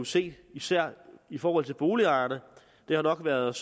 se især i forhold til boligejerne det har nok været